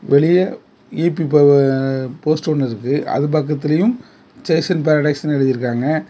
வெளியே ஈ_பி ப அ போஸ்ட் ஒன்னு இருக்கு அது பக்கத்துலயும் ஜெய்சஸ் பெறடைஸ்னு எழுதியிருக்காங்க.